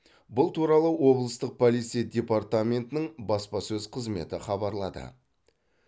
бұл туралы облыстық полиция департаментінің баспасөз қызметі хабарлады